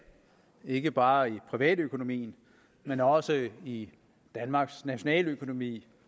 ikke bare i privatøkonomien men også i danmarks nationaløkonomi